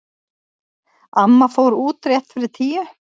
Amma fór út rétt fyrir níu.